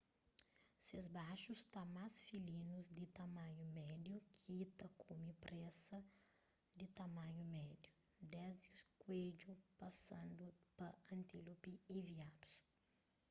ses baxu sta más filinus di tamanhu médiu ki ta kume preza di tamanhu médiu desdi kuedju pasandu pa antílopi y viadus